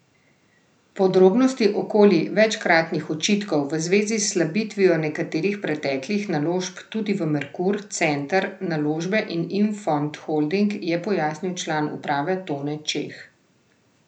Podrobnosti okoli večkratnih očitkov v zvezi s slabitvijo nekaterih preteklih naložb, tudi v Merkur, Center naložbe in Infond Holding, je pojasnil član uprave Tone Čeh.